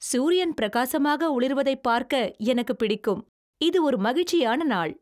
சூரியன் பிரகாசமாக ஒளிர்வதைப் பார்க்க எனக்குப் பிடிக்கும். இது ஒரு மகிழ்ச்சியான நாள்.